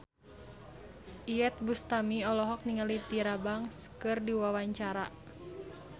Iyeth Bustami olohok ningali Tyra Banks keur diwawancara